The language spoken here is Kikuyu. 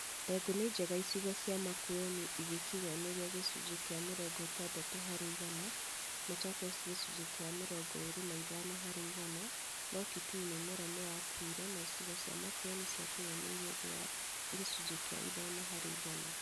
Ndengũ ni njega icigo cia Makueni igĩkinyanĩria gĩcunjĩ kĩa mĩrongo ĩtandatũ harĩ igana, Machakos gĩcunjĩ kĩa mĩrongo ĩĩri na ithano harĩ igana, no Kitui mĩmera nĩyakuire na icigo cia Makueni ciakĩnyanĩirie thĩ wa gĩcunjĩ kĩa ithano harĩ igana